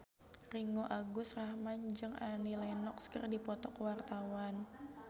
Ringgo Agus Rahman jeung Annie Lenox keur dipoto ku wartawan